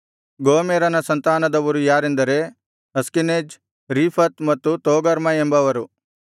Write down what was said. ಗೋಮೆರನ ಸಂತಾನದವರು ಯಾರೆಂದರೆ Ashkenaz Riphath ಮತ್ತು ತೋಗರ್ಮ ಎಂಬವರು